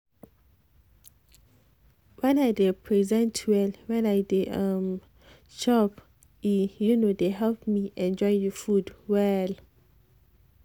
when i dey present well when i dey um chop e um dey help me enjoy the food well